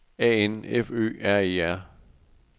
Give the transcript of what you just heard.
A N F Ø R E R